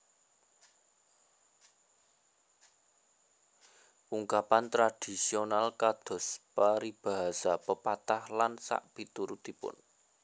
Ungkapan tradhisional kados peribahasa pepatah lan sakpiturutipun